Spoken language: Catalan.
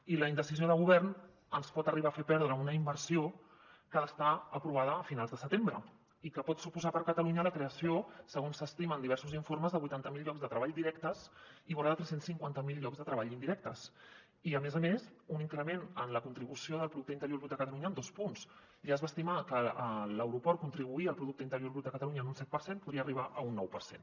i la indecisió del govern ens pot arribar a fer perdre una inversió que ha d’estar aprovada a finals de setembre i que pot suposar per a catalunya la creació segons s’estima en diversos informes de vuitanta mil llocs de treball directes i vora de tres cents i cinquanta miler llocs de treball indirectes i a més a més un increment en la contribució del producte interior brut de catalunya en dos punts ja es va estimar que l’aeroport contribuïa al producte interior brut de catalunya en un set per cent i podria arribar a un nou per cent